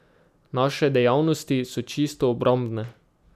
Naše dejavnosti so čisto obrambne.